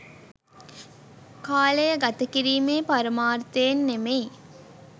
කාලය ගත කිරීමේ පරමාර්ථයෙන් නෙමෙයි.